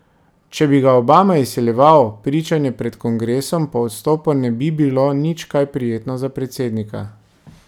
Če bi ga Obama izsiljeval, pričanje pred kongresom po odstopu ne bi bilo nič kaj prijetno za predsednika.